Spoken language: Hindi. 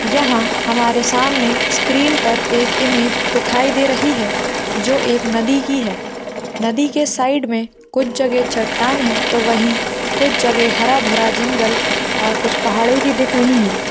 यहा हमारे सामने स्क्रीन पर एक इमेज दिखाई दे रही है जो एक नदी की है नदी के साइड मे कुछ चट्टान है तो वही कुछ जगह हरा भरा जंगल और कुछ पहाडे भी दिख रही है।